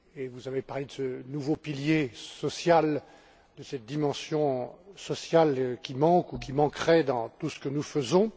Vous avez évoqué ce nouveau pilier social, cette dimension sociale qui manque ou qui manquerait dans tout ce que nous faisons.